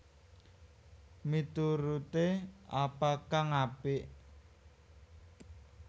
Mituruté apa kang apik